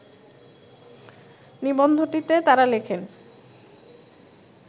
নিবন্ধটিতে তারা লেখেন